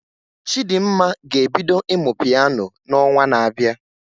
Chidimma ga-ebido ịmụ Piano na onwa na abịa